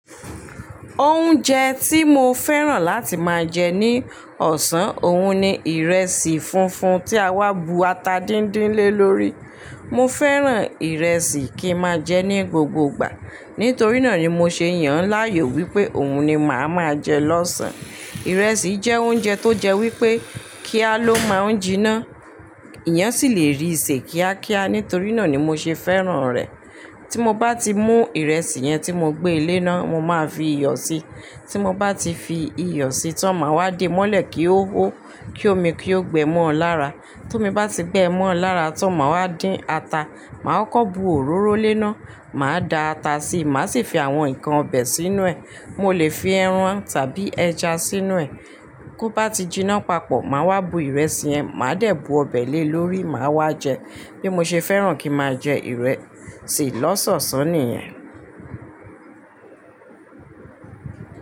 Oúnjẹ tí mo fẹ́ràn láti máa jẹ ní ọ̀sán, òun ni ìrẹsì funfun tí a wá bu ata díndín lé lórí. Mo fẹ́ràn ìrẹsì kí máa jẹ ní gbogbo ìgbà. Nítorí náà ni mo ṣe yàn láàyò wípé òun ni màá máa jẹ lọ́sàn. Ìrẹsì jẹ́ oúnjẹ tó jẹ wípé kí á ló máa jinná. Iyán sì lè rí ìṣe kíákíá. Nítorí náà ni mo ṣe fẹ́ràn rẹ̀. Tí mo bá ti mú ìrẹsì yẹn tí mo gbé e léná, mo máa fi iyọ̀ si. Tí mo bá ti fi iyọ̀ sí, tó màá wá dé mọ́lẹ̀ kí ó hó, kí omi kí ó gbẹ mọ́ ọ lára. Tó mi bá ti gbẹ ẹ mọ́ ọ lára, tán màá wá dín ata, màá kọ́ bu òróró léná, màá da ata sí, màá sì fi àwọn nnkan ọbẹ̀ sínú ẹ̀. Mo lè fi ẹran tàbí ẹja sínú ẹ̀. Tó bá ti jiná papọ̀, màá wá bu ìrẹsì yẹn, màá dẹ̀ bu ọbẹ̀ lé lórí, màá wá jẹ. Bí mo ṣe fẹ́ràn kí ma jẹ ìrẹsì lọ́sọ̀ọ̀sán nìyẹn.